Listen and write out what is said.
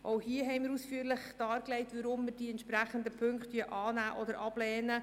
Auch dazu haben wir ausführlich dargelegt, weshalb wir die entsprechenden Punkte annehmen oder ablehnen.